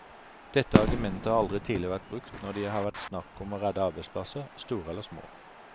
Dette argumentet har aldri tidligere vært brukt når det har vært snakk om å redde arbeidsplasser, store eller små.